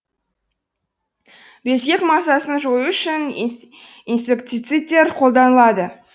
безгек масасын жою үшін инсектицидтер қолданылады